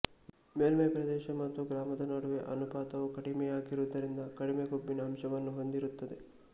ಮೇಲ್ಮೈಪ್ರದೇಶ ಮತ್ತು ಗಾತ್ರದ ನಡುವೆ ಅನುಪಾತವು ಕಡಿಮೆಯಾಗಿರುವುದರಿಂದ ಕಡಿಮೆ ಕೊಬ್ಬಿನ ಅಂಶವನ್ನು ಹೊಂದಿರುತ್ತದೆ